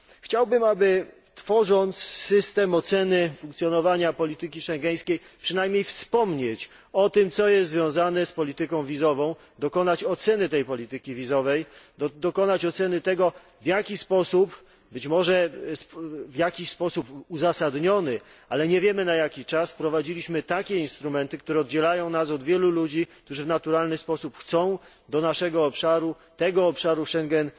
Chciałbym, aby tworząc system oceny funkcjonowania polityki schengeńskiej przynajmniej wspomnieć o tym, co jest związane z polityką wizową, dokonać jej oceny, dokonać oceny tego w jaki sposób, być może w jakiś sposób uzasadniony, ale nie wiemy na jaki czas, wprowadziliśmy takie instrumenty, które oddzielają nas od wielu ludzi, którzy w naturalny sposób chcą do naszego obszaru, tego obszaru Schengen